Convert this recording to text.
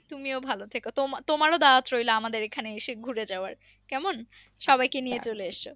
তুমিও ভালো থেকো তোমার ও রইলো আমাদের এইখানে এসে ঘুরে যাবার কেমন সবাই কে নিয়ে চলে এসো